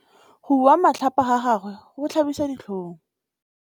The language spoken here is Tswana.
Go bua matlhapa ga gagwe go tlhabisa ditlhong.